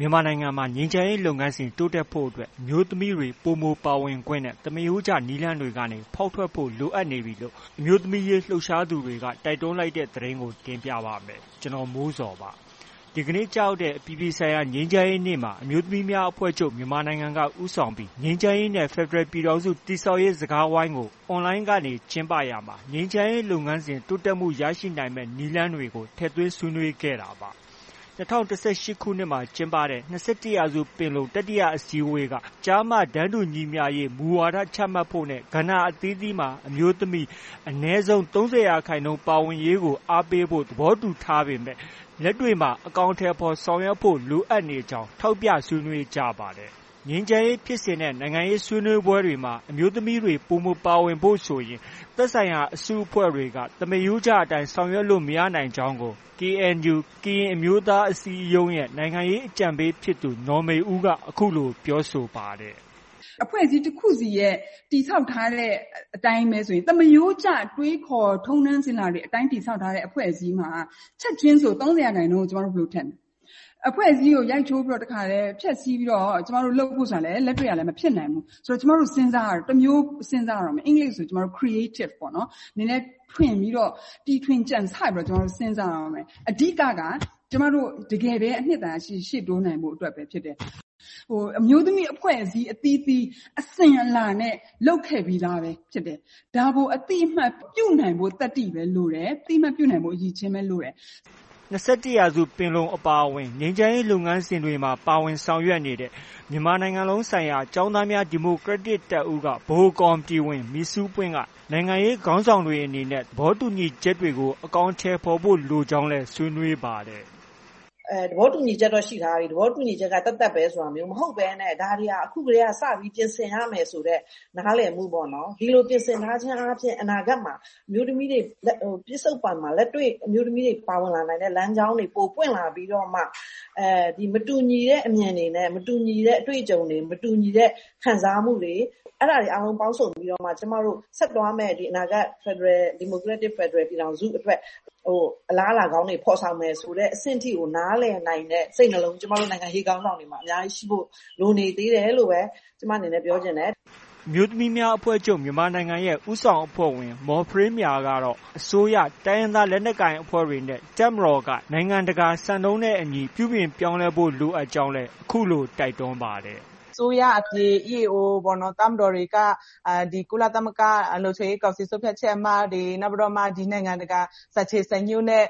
မြန်မာနိုင်ငံမှာ ငြိမ်းချမ်းရေးလုပ်ငန်းစဉ် တိုးတက်ဖို့အတွက် အမျိုးသမီးတွေ ပိုမိုပါဝင်ခွင့်နဲ့ သမားရိုးကျနည်းလမ်းတွေကနေ ဖောက်ထွက်ဖို့ လိုအပ်နေပြီလို့ အမျိုးသမီးရေးလှုပ်ရှားသူတွေ တိုက်တွန်းလိုက်တဲ့ သတင်းကို ဗွီအိုအေမြန်မာပိုင်းသတင်းထောက် ကိုမိုးဇော်က တင်ပြပါမယ်။ ဒီကနေ့ ကျရောက်တဲ့ အပြည်ပြည်ဆိုင်ရာ ငြိမ်းချမ်းရေးနေ့မှာ အမျိုးသမီးများအဖွဲ့ချုပ် မြန်မာနိုင်ငံက ဦးဆောင်ပြီး ငြိမ်းချမ်းရေးနဲ့ ဖက်ဒရယ်ပြည်ထောင်စု တည်ဆောက်ရေး စကားဝိုင်းမှာ အွန်လိုင်းကနေ ကျင်းပရာမှာ ငြိမ်းချမ်းရေး လုပ်ငန်းစဉ် တိုးတက်မှု ရနိုင်မယ့် နည်းလမ်းတွေကိုလည်း ထည့်သွင်းဆွေးနွေးခဲ့ဲ့တာပါ။ ၂၀၁၈ ခုနှစ်မှာ ကျင်းပတဲ့ ၂၁ ရာစု ပင်လုံ တတိယအစည်းအဝေးက ကျား၊ တန်းတူညီမျှရေးမူဝါဒ ချမှတ်ဖို့နဲ့ ကဏ္ဍအသီးသီးမှာ အမျိုးသမီး အနည်းဆုံး ၃၀ ရာခိုင်နှုန်း ပါဝင်ရေးကို အားပေးဖို့ သဘောတူညီထားခဲ့ပေမဲ့ လက်တွေ့မှာ အကောင်အထည်ဖော် ဆောင်ရွက်ဖို့ လိုအပ်ကြောင်း ထောက်ပြဆွေးနွေးကြပါတယ်။ ငြိမ်းချမ်းရေးဖြစ်စဉ်နဲ့ နိုင်ငံရေးဆွေးနွေးပွဲတွေမှာ အမျိုးသမီးတွေ ပိုမိုပါဝင်ဖို့ဆိုရင် သက်ဆိုင်ရာ အစု အဖွဲ့တွေက သမားရိုးကျအတိုင်း ဆောင်ရွက်လို့ မရနိုင်ကြောင်းကို KNU ကရင်အမျိုးသားအစည်းအရုံးရဲ့ နိုင်ငံရေး အကြံပေးဖြစ်သူ နော်မေဦးက အခုလို ပြောဆိုပါတယ်။ “အဖွဲ့အစည်းတစ်ခုစီရဲ့ တည်ဆောက်ထားတဲ့အတိုင်းပဲဆိုရင် သမားရိုးကျ တွေးခေါ်၊ ထုံးတမ်းစဉ်လာတွေအတိုင်း တည်ဆောက်ထားတဲ့ အဖွဲ့အစည်းမှာ ချက်ချင်းဆို ၃၀ ရာခိုင်နှုန်း ဘယ်လို ထည့်မလဲ။ အဖွဲ့အစည်းကို ရိုက်ချိုးပြီးတော့၊ တစ်ခါတည်း ဖျက်ဆီးပြီးတော့ လုပ်ဖို့ ဆိုတာလည်း လက်တွေ့က မဖြစ်နိုင်ဘူး။ ဆိုတော့ ကျမတို့ စဉ်းစားရတော့မယ်။ တစ်မျိုးစဉ်းစားရတော့မယ်။ အင်္ဂလိပ်လိုဆို Creative ပေါ့။ နည်းနည်းထွင်ပြီးတော့ တီထွင်ကြံဆပြီးတော့ ကျမတို့ စဉ်းစားရတော့မယ်။ အဓိကက တကယ်ပဲ အနှစ်သာရရှိရှိ ရှေ့တိုးနိုင်ဖို့ ဖြစ်တယ်။ အမျိုးသမီးအဖွဲ့အစည်းအသီးသီး အစဉ်အလာနဲ့ လုပ်ခဲ့ပြီးသားပဲဖြစ်တယ်။ ဒါကို အသိအမှတ်ပြုနိုင်ဖို့ သတ္တိပဲလိုတယ်။ အသိအမှတ်ပြုနိုင်ဖို့ အရည်အချင်းပဲ လိုတယ်။” ၂၁ ရာစုပင်လုံအပါအဝင် ငြိမ်းချမ်းရေးလုပ်ငန်းစဉ်တွေမှာ ပါဝင်ဆောင်ရွက်နေတဲ့ မြန်မာနိုင်ငံလုံးဆိုင်ရာ ကျောင်းသားများ ဒီမိုကရက်တစ်တပ်ဦးက ဗဟိုကော်မတီဝင် မိဆူးပွင့်က နိုင်ငံရေးခေါင်းဆောင်တွေအနေနဲ့ သဘောတူညီချက်တွေကို အကောင်အထည်ဖို့ လိုကြောင်းလည်းဆွေးနွေးပါတယ်။ “သဘောတူညီချက်က ရှိထားပြီ။ သဘောတူညီချက်က သတ်သတ်ပဲ ဆိုတာမျိုး မဟုတ်ဘဲနဲ့။ ဒါတွေဟာ အခုကတည်းက စပြီး ပြင်ဆင်ရမယ်ဆိုတဲ့ နားလည်မှုပေါ့နော်။ ဒီလိုပြင်ဆင်ထားခြင်းအားဖြင့် အနာဂတ်မှာ အမျိုးသမီးတွေ၊ ပစ္စုပ္ပန်မှာ လက်တွေ့ အမျိုးသမီးတွေ ပါဝင်လာနိုင်တဲ့ လမ်းကြောင်းတွေ ပိုပွင့်လာပြီးတော့မှ မတူညီတဲ့အမြင်တွေနဲ့၊ မတူညီတဲ့အတွေ့အကြုံတွေ၊ မတူညီတဲ့ ခံစားမှုတွေ အဲဒါတွေအားလုံးပေါင်းစုံပြီးတော့မှ ကျမတို့ ဆက်သွားမယ့် အနာဂတ် ဒီမိုကရက်တစ် ဖက်ဒရယ်ပြည်ထောင်စုအတွက် အလားအလာကောင်းတွေ ဖော်ဆောင်မယ် ဆိုတဲ့အဆင့်ထိကို နားလည်နိုင်တဲ့ စိတ်နှလုံး ကျမတို့ နိုင်ငံရေးခေါင်းဆောင်တွေမှာ အများကြီးရှိဖို့ လိုနေသေးတယ်လို့ဖို့ ကျမအနေနဲ့ ပြောချင်တယ်။” အမျိုးသမီးများအဖွဲ့ချုပ် မြန်မာနိုင်ငံရဲ့ ဦးဆောင်အဖွဲ့ဝင် မော်ဖရေးမြာကတော့ အစိုးရ၊ တိုင်းရင်းသားလက်နက်ကိုင်နဲ့ တပ်မတော်က နိုင်ငံတကာစံနှုန်းနဲ့ အညီ ပြုပြင် ပြောင်းလဲဖို့ လိုအပ်ကြောင်းလည်း အခုလို တိုက်တွန်းပါတယ်။ “အစိုးရအပြင် EAO၊ တပ်မတော်တွေက ကုလသမဂ္ဂလုံခြုံရေးကောင်စီ ဆုံးဖြတ်ချက် အမှတ်တွေ၊ နောက်ပြီးတော့မှ နိုင်ငံတကာ စံချိန် စံညွှန်းနဲ့